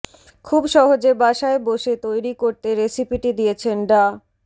খুব সহজে বাসায় বসে তৈরি করতে রেসিপিটি দিয়েছেন ডা